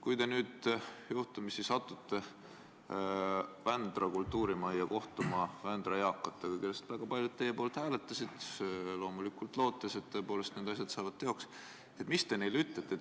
Kui te nüüd juhtumisi satute Vändra kultuurimajja, et kohtuda Vändra eakatega, kellest väga paljud teie poolt hääletasid, loomulikult lootes, et need asjad saavad teoks, siis mis te neile ütlete?